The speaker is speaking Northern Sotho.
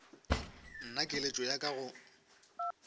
nna keletšo ya ka go